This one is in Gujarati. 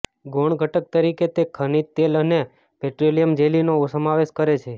ગૌણ ઘટક તરીકે તે ખનિજ તેલ અને પેટ્રોલિયમ જેલીનો સમાવેશ કરે છે